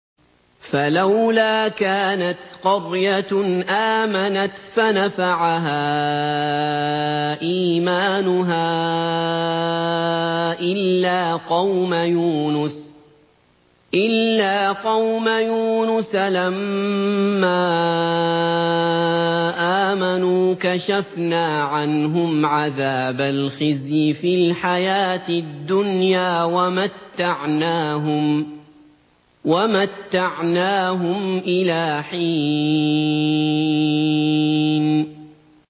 فَلَوْلَا كَانَتْ قَرْيَةٌ آمَنَتْ فَنَفَعَهَا إِيمَانُهَا إِلَّا قَوْمَ يُونُسَ لَمَّا آمَنُوا كَشَفْنَا عَنْهُمْ عَذَابَ الْخِزْيِ فِي الْحَيَاةِ الدُّنْيَا وَمَتَّعْنَاهُمْ إِلَىٰ حِينٍ